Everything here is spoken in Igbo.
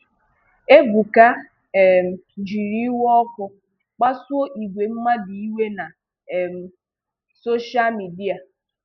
Ebuka um jiiri iwe ọkụ kpasuo ìgwè mmadụ iwe na um soshal midia.